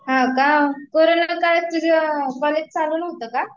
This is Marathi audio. हो का, कोरोंना काळात तुझ कॉलेज चालू नवता का ?